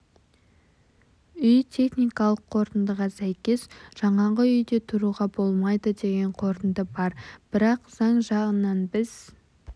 үй техникалық қорытындыға сәйкес жаңағы үйде тұруға болмайды деген қорытынды бар бірақ заң жағынан біз